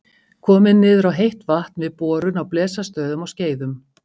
Komið niður á heitt vatn við borun á Blesastöðum á Skeiðum.